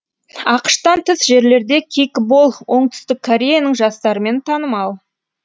ақш тан тыс жерлерде кикбол оңтүстік кореяның жастарымен танымал